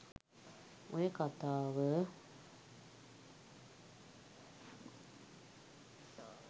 ඔය කතාව